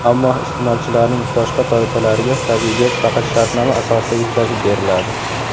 Ammo iste’molchilarning boshqa toifalariga tabiiy gaz faqat shartnoma asosida yetkazib beriladi.